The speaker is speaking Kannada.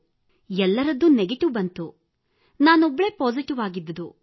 ಎಲ್ಲರದ್ದೂ ನೆಗೆಟಿವ್ ಬಂತು ನಾನೊಬ್ಬಳೇ ಪಾಸಿಟಿವ್ ಆಗಿದ್ದುದು